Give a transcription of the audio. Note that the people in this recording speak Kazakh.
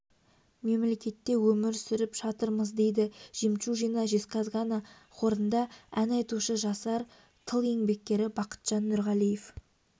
мемлекетте өмір сүріп жатырмыз дейді жемчужина жезказгана хорында ән айтушы жасар тыл еңбеккері бақытжан нұрғалиев